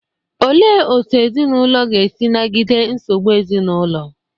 Olee otú ezinụlọ ga-esi nagide nsogbu ezinụlọ?